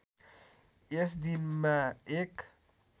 यस दिनमा एक